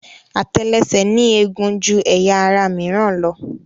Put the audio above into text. Àtẹlẹsẹ̀ ní eegun ju ẹyà ara mìíràn lọ.